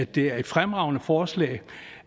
det er et fremragende forslag